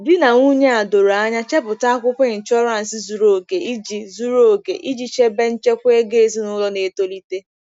Di na nwunye a doro anya chepụta akwụkwọ ịnshọransị zuru oke iji zuru oke iji chebe nchekwa ego ezinụlọ na-etolite.